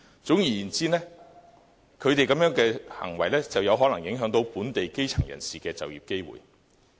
總而言之，他們這種行為可能會影響本地基層人士的就業機會。